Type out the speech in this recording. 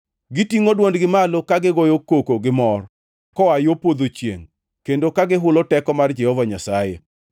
Gitingʼo dwondgi malo, ka gigoyo koko gimor koa yo podho chiengʼ, kendo ka gihulo teko mar Jehova Nyasaye.